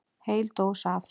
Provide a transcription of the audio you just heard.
Heil dós af